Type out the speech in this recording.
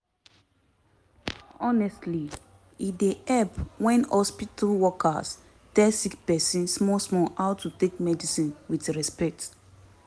honestly e dey help wen hospitol workers tell sick pesin small small how to take medicine with respect